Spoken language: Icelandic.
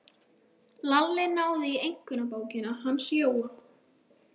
Lalli náði í einkunnabókina hans Jóa.